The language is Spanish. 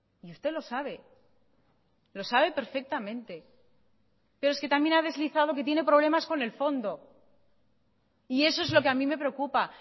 y usted lo sabe lo sabe perfectamente pero es que también ha deslizado que tiene problemas con el fondo y eso es lo que a mí me preocupa